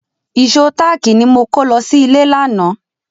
Ìṣó táàkì ni mo kó lọ sí ilé lánàá.